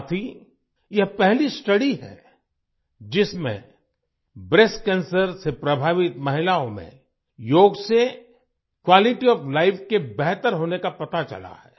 साथ ही यह पहली स्टडी है जिसमें ब्रेस्ट कैंसर से प्रभावित महिलाओं में योग से क्वालिटी ओएफ लाइफ के बेहतर होने का पता चला है